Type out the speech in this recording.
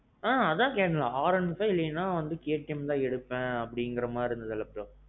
ம்ம். அதான் கேட்டேன் இல்ல R one five இல்லனா KTM ல எடுப்பேன் அப்பிடீங்குற மாறி bro.